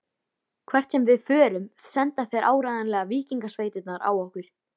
Hvert sem við förum senda þeir áreiðanlega víkingasveitirnar á okkur.